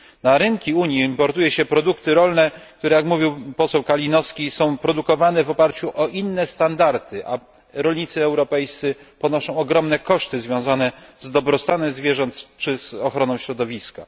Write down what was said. Na rynki Unii importuje się produkty rolne, które jak mówił poseł Kalinowski są produkowane w oparciu o inne standardy, a rolnicy europejscy ponoszą ogromne koszty związane z dobrostanem zwierząt czy ochroną środowiska.